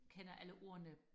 kender alle ordene